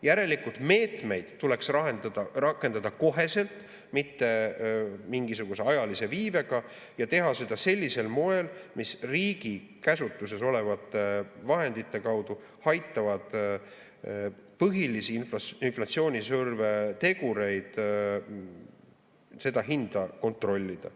Järelikult meetmeid tuleks rakendada kohe, mitte mingisuguse ajalise viibega, ja teha seda sellisel moel, mis riigi käsutuses olevate vahendite kaudu aitaks põhilisi inflatsioonisurve tegureid, seda hinda kontrollida.